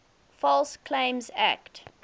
false claims act